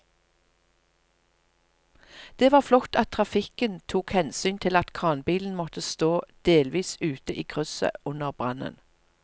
Det var flott at trafikken tok hensyn til at kranbilen måtte stå delvis ute i krysset under brannen.